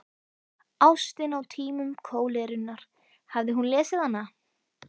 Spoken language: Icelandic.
Ástin á tímum kólerunnar, hafði hún lesið hana?